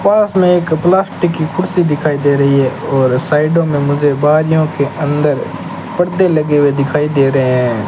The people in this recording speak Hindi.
पास में एक प्लास्टिक की कुर्सी दिखाई दे रही है और साइडो में मुझे बारियों के अंदर परदे लगे हुए दिखाई दे रहे हैं।